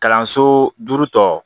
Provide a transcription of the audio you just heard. Kalanso duuru tɔ